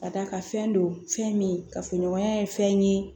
Ka d'a kan fɛn don fɛn min kafoɲɔgɔnya ye fɛn ye